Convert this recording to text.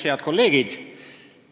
Head kolleegid!